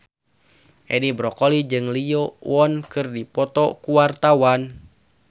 Edi Brokoli jeung Lee Yo Won keur dipoto ku wartawan